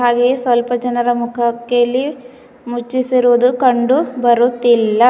ಹಾಗೆ ಸ್ವಲ್ಪ ಜನರ ಮುಖಕೆ ಇಲ್ಲಿ ಮುಚ್ಛಿಸಿರುವುದು ಕಂಡು ಬರುತ್ತಿಲ್ಲ.